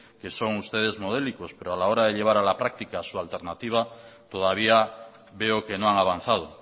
que son ustedes modélicos pero a la hora de llevar a la práctica su alternativa todavía veo que no han avanzado